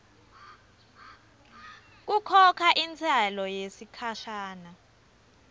kukhokha intsela yesikhashana